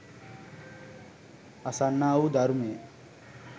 අසන්නා වූ ධර්මය